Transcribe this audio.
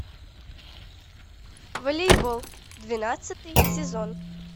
волейбол двенадцатый сезон